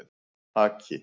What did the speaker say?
Haki